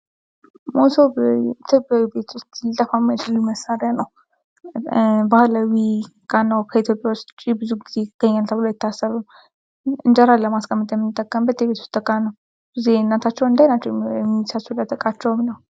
መሶብ ቤት ውስጥ ሊጠፋ የማይችል መሳሪያ ነው። ባህላዊ ከኢትዮጵያ ውጭ ብዙ ጊዜ ይገኛል ተብሎ አይታሰብም። እንጀራን ለማስቀመጥ የምንጠቀምበት የቤት ውስጥ እቃ ነው። ብዙ ጊዜ እናቶቻችን እንደ አይናቸው የሚሳሱለት እቃቸውም ነው።